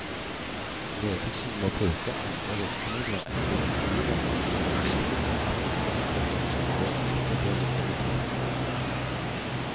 Ledelsen må bruke andre virkemidler enn direktiver for å sikre at viktige forskningsområder ikke blir liggende brakk.